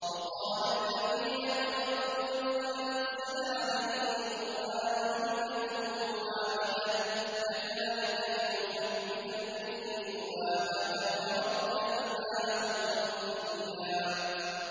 وَقَالَ الَّذِينَ كَفَرُوا لَوْلَا نُزِّلَ عَلَيْهِ الْقُرْآنُ جُمْلَةً وَاحِدَةً ۚ كَذَٰلِكَ لِنُثَبِّتَ بِهِ فُؤَادَكَ ۖ وَرَتَّلْنَاهُ تَرْتِيلًا